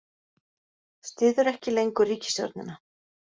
Styður ekki lengur ríkisstjórnina